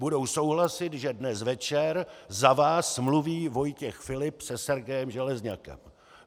Budou souhlasit, že dnes večer za vás mluví Vojtěch Filip se Sergejem Železňakem.